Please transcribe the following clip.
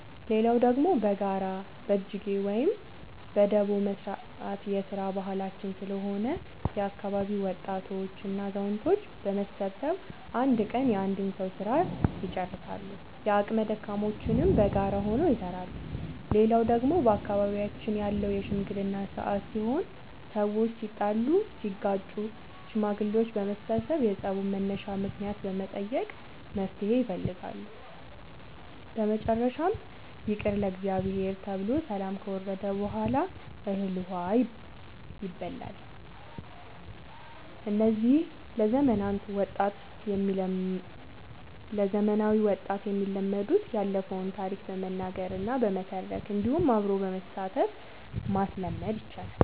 ሌላው ደግሞ በጋራ በጅጌ ወይም በዳቦ መስራት የስራ ባህላችን ስለሆነ የአካባቢ ወጣቶች እና አዛውቶች በመሰብሰብ አንድ ቀን የአንድ ሰዉ ስራ ልጨርሳሉ። የአቅመ ደካሞችንም በጋራ ሆነው ይሰራሉ። ሌላው ደግሞ በአካባቢያችን ያለው የሽምግልና ስርአት ሲሆን ሰዎች ሲጣሉ ሲጋጩ ሽማግሌዎች በመሰብሰብ የፀቡን መነሻ ምክንያት በመጠየቅ መፍትሔ ይፈልጋሉ። በመጨረሻም ይቅር ለእግዚአብሔር ተብሎ ሰላም ከወረደ በሗላ እህል ውሃ ይባላል። እነዚህ ለዘመናዊ ወጣት የሚለመዱት ያለፈውን ታሪክ በመናገር እና በመተረክ እንዲሁም አብሮ በማሳተፍ ማስለመድ ይቻላል።